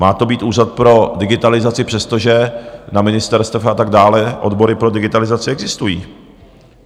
Má to být úřad pro digitalizaci, přestože na ministerstvech a tak dále odbory pro digitalizaci existují.